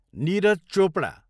Neeraj Chopra